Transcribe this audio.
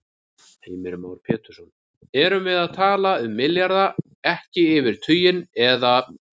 Heimir Már Pétursson: Erum við að tala milljarða, ekki yfir tuginn, eða?